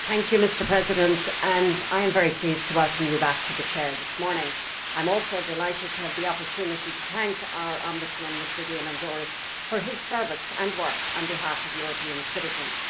Mr President, I am very pleased to welcome you back to the Chair this morning and I am also delighted to have the opportunity to thank our Ombudsman, Mr Diamandouros, for his service and work on behalf of European citizens.